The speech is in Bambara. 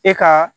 E ka